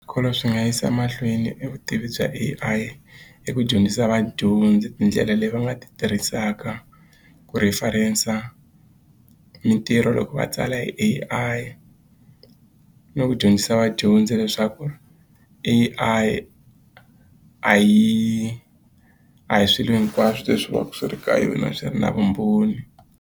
Swikolo swi nga yisa emahlweni e vutivi bya A_I hi ku dyondzisa vadyondzi tindlela leyi va nga ti tirhisaka ku reference mitirho loko va tsala hi A_I ni ku dyondzisa vadyondzi leswaku A_I a hi a hi swilo hinkwaswo leswi va ku swi ri ka yona swi ri na vumbhoni.